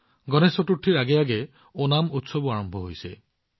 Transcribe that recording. গণেশ চতুৰ্থীৰ পূৰ্বে ওনাম উৎসৱো আৰম্ভ হৈছে